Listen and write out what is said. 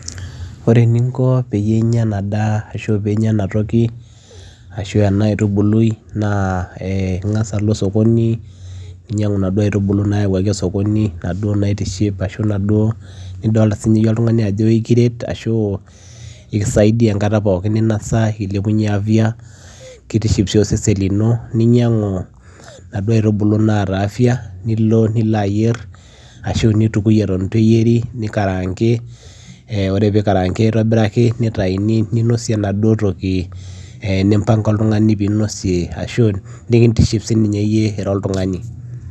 ore eninko peyie inyia ena daa ashu piinya enatoki ashu ena aitubului naa eh ing'as alo osokoni eh ninyiang'u inaduo aitubulu nayawuaki osokoni inaduo naitiship ashu inaduo nidolta sininye iyie oltung'ani ajo ikiret ashu ekisaidia enkata pookin ninasa eilepunyie afya kitiship sii osesen llino kinyiang'u inaduo aitubulu naata afya nilo nilo ayierr ashu nitukui eton itu eyieri nikarangi eh ore pikarangi aitobiraki nitaini ninosie enaduo toki eh nimpanga oltung'ani pinosie ashu nikintiship sininye iyie ira oltung'ani.